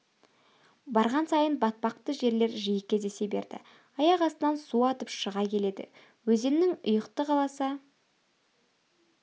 барған сайын батпақты жерлер жиі кездесе берді аяқ астынан су атып шыға келеді өзеннің ұйықты аласа